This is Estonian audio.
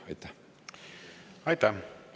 Aitäh!